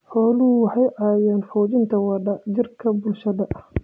Xooluhu waxay caawiyaan xoojinta wada jirka bulshada.